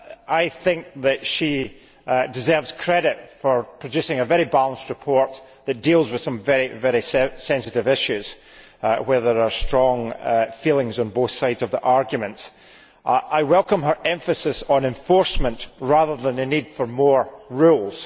I think that she deserves credit for producing a very balanced report that deals with some very sensitive issues where there are strong feelings on both sides of the argument. I welcome her emphasis on enforcement rather than on the need for more rules.